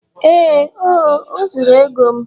ee oh, o zuru ego m